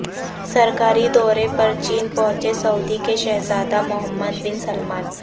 سرکاری دورے پر چین پہنچے سعودی کے شہزادہ محمد بن سلمان